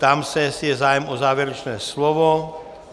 Ptám se, jestli je zájem o závěrečné slovo.